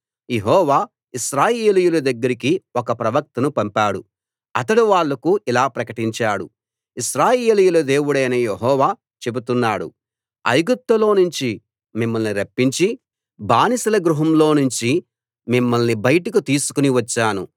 యెహోవా ఇశ్రాయేలీయుల దగ్గరికి ఒక ప్రవక్తను పంపాడు అతడు వాళ్ళకు ఇలా ప్రకటించాడు ఇశ్రాయేలీయుల దేవుడైన యెహోవా చెబుతున్నాడు ఐగుప్తులో నుంచి మిమ్మల్ని రప్పించి బానిసల గృహంలో నుంచి మిమ్మల్ని బయటకు తీసుకుని వచ్చాను